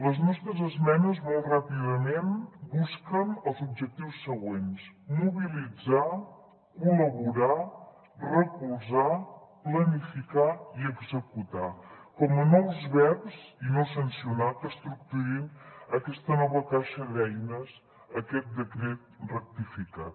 les nostres esmenes molt ràpidament busquen els objectius següents mobilitzar col·laborar recolzar planificar i executar com a nous verbs i no sancionar que estructurin aquesta nova caixa d’eines aquest decret rectificat